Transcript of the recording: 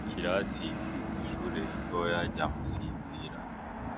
Ikirasi kiri kw’ishure ritoya rya mu Sinzira,